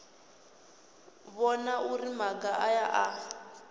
vhona uri maga aya a